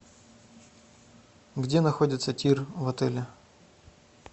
где находится тир в отеле